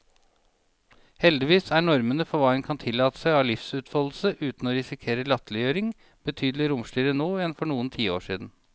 Heldigvis er normene for hva en kan tillate seg av livsutfoldelse uten å risikere latterliggjøring, betydelig romsligere nå enn for noen tiår siden.